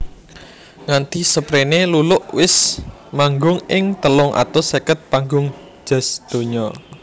Nganti seprene Luluk wis manggung ing telung atus seket panggung jazz donya